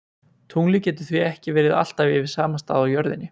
Tunglið getur því ekki verið alltaf yfir sama stað á jörðinni.